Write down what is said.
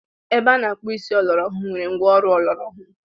Ebe a na-akpụ isi ọlọrọ ọhụrụ nwere ngwa ọrụ ọlọrọ ọhụrụ.